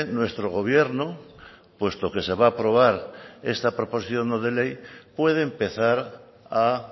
nuestro gobierno puesto que se va a aprobar esta proposición no de ley puede empezar a